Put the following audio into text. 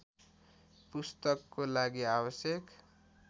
पुस्तकको लागि आवश्यक